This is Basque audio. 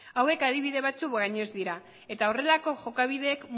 hauek adibide batzuek baino ez dira eta horrelako jokabideek